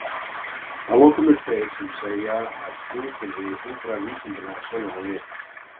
að lokum eru þeir sem segja að trú þurfi engra vísindalegra sannana við